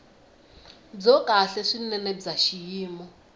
byo kahle swinene bya xiyimo